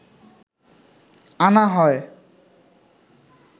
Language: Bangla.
আনা হয়